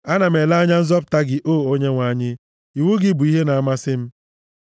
Ana m ele anya nzọpụta gị, o Onyenwe anyị, iwu gị bụ ihe na-amasị m.